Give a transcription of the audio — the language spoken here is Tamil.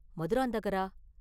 மதுராந்தகரா?